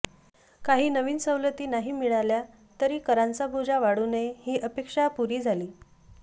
काही नवीन सवलती नाही मिळाल्या तरी करांचा बोजा वाढू नये ही अपेक्षा पुरी झाली